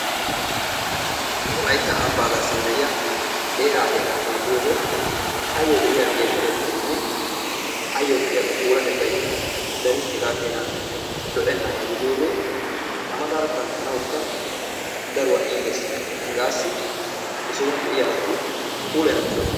Wolaytta ambbaa garssan de'iya qeeraa heeraa xeelliyode ayyo de'iya geeshshatettaynne ayyo de'iya qa puulatettaykka darin hegaa keena lo"ennaagaa gidiyogee A mataara kanttanawukka daruwa iitees. Hegaassi he sohuwan de'iya asati puulayanawu koshshoosona.